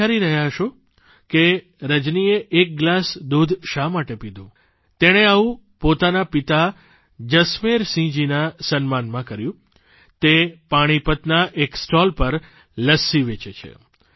વિચારી રહ્યા હશો કે રજનીએ એક ગ્લાસ દૂધ શા માટે પીધું તેણે આવું પોતાના પિતા જસમેરસિંહજીના સન્માનમાં કર્યું તે પાણીપતના એક સ્ટોલ પર લસ્સી વેચે છે